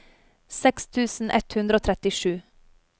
seks tusen ett hundre og trettisju